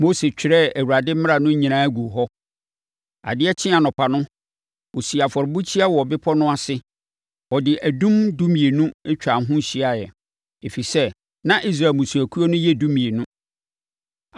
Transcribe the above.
Mose twerɛɛ Awurade mmara no nyinaa guu hɔ. Adeɛ kyee anɔpa no, ɔsii afɔrebukyia wɔ bepɔ no ase. Ɔde adum dumienu twaa ho hyiaeɛ, ɛfiri sɛ, na Israel mmusuakuo no yɛ dumienu.